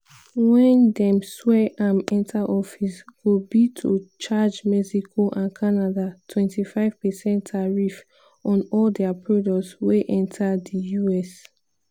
wen dem swear am enta office go be to charge mexico and canada 25 percent tariff on all dia products wey enta di us.